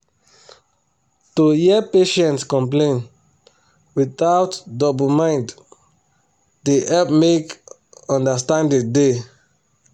to hear patient complain without double mind da help make understanding da